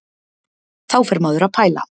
Þá fer maður að pæla.